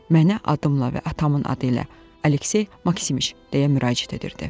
Mənə adıma və atamın adı ilə Aleksey Maksimiç deyə müraciət edirdi.